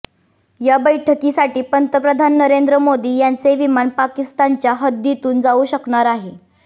या बैठकीसाठी पंतप्रधान नरेंद्र मोदी यांचे विमान पाकिस्तानच्या हद्दीतून जाऊ शकणार आहे